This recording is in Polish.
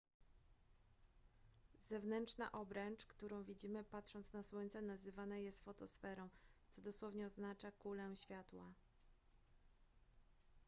zewnętrzna obręcz którą widzimy patrząc na słońce nazywana jest fotosferą co dosłownie oznacza kulę światła